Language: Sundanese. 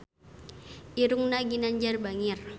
Irungna Ginanjar bangir